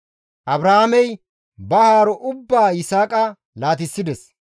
Abrahaamey ba haaro ubbaa Yisaaqa laatissides.